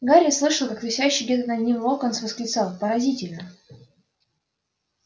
гарри слышал как висящий где-то под ним локонс восклицал поразительно